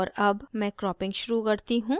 और अब मैं cropping शुरू करती हूँ